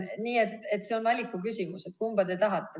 Nii et see on valiku küsimus, kumba te tahate.